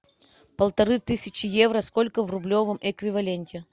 полторы тысячи евро сколько в рублевом эквиваленте